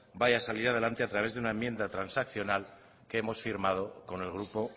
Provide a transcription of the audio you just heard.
vaya a salir adelante a través de una enmienda transaccional que hemos firmado con el grupo